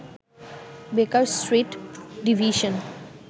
বেকার Street division